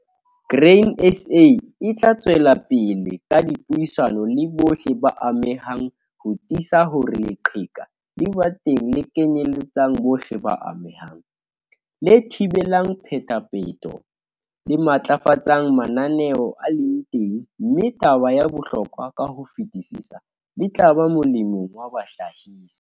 Grain SA e tla tswela pele ka dipuisano le bohle ba amehang ho tiisa hore leqheka le ba teng le kenyeletsang bohle ba amehang, le thibelang phetapheto, le matlafatsang mananeo a leng teng, mme taba ya bohlokwa ka ho fetisisa - le tla ba molemong wa bahlahisi.